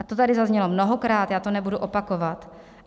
A to tady zaznělo mnohokrát, já to nebudu opakovat.